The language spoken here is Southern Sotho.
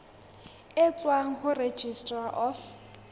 e tswang ho registrar of